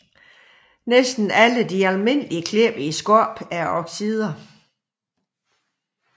Næsten alle de almindelige klipper i skorpen er oxider